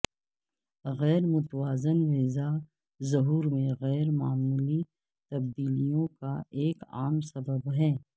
غیر متوازن غذا ظہور میں غیر معمولی تبدیلیوں کا ایک عام سبب ہے